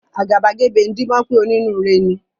Àgàbàgebè ń díbọ́n pé onínúure ni.